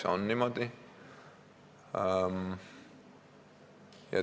See on niimoodi.